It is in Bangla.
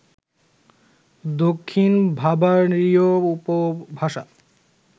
দক্ষিণ বাভারীয় উপভাষা